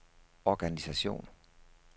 organisation